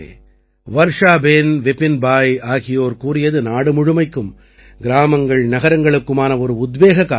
வர்ஷாபேன் விபின்பாய் ஆகியோர் கூறியது நாடு முழுமைக்கும் கிராமங்கள்நகரங்களுக்குமான ஒரு உத்வேகக் காரணி